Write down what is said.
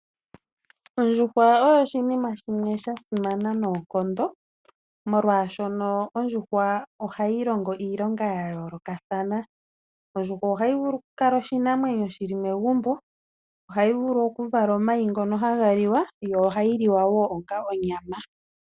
Ondjuhwa oyo oshinima shimwe shasimana noonkondo molwaashono ondjuhwa ohayilongo iilonga ya yoolokathana ,ondjuhwa ohayi vulu okukala oshinamwenyo shili megumbo ,ohayi vulu okuvala omayi ngono hagaliwa yo ohayiliwa wo onga onyama.